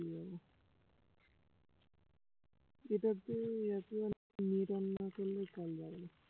এটাতে এয়ারটেলের net on না করলে call যাবে না